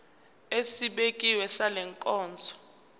esibekiwe sale nkonzo